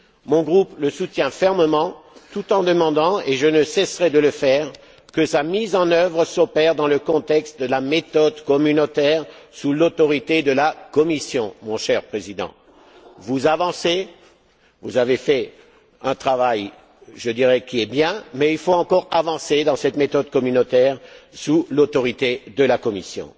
Mon groupe le soutient fermement, tout en demandant et je ne cesserai de le faire que sa mise en œuvre s'opère dans le contexte de la méthode communautaire, sous l'autorité de la Commission, mon cher Président. Vous avancez, vous avez fait un travail qui est bien, mais il faut encore avancer dans cette méthode communautaire sous l'autorité de la Commission.